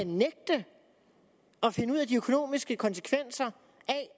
nægte at finde ud af de økonomiske konsekvenser